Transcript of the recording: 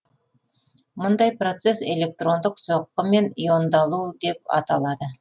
мұндай процесс электрондық соққымен иондалу деп аталады